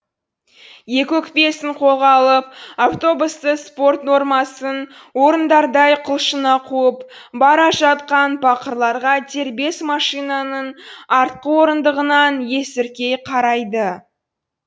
екі өкпесін қолға алып автобусты спорт нормасын орындардай құлшына қуып бара жатқан пақырларға дербес машинаның артқы орындығынан есіркей қарайды